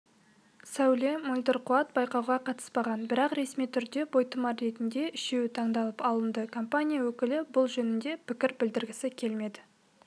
сәуле мөлдір қуат байқауға қатыспаған бірақ ресми түрде бойтұмар ретінде үшеуі таңдалып алынды компания өкілі бұл жөнінде пікір білдіргісі келмеді